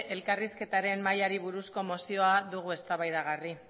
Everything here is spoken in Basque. elkarrizketaren mahaiari buruzko mozioa dugu eztabaidagai